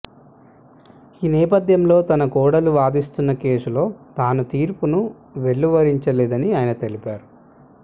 ఈ నేపథ్యంలో తన కోడలు వాదిస్తున్న కేసులో తాను తీర్పును వెలువరించలేదని ఆయన తెలిపారు